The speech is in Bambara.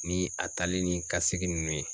Ni a talen ni kasigi nunnu ye